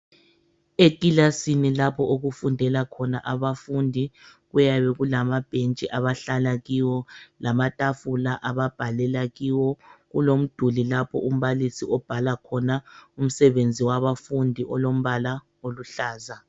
Ekilasini lapho okufundela khona abafundi, kuyabe kulamabhentshi abahlala kiwo, lamatafula ababhalela kiwo. Kulomduli lapho umbalisi obhala khona umsebenzi wabafundi olombala oluhlaza.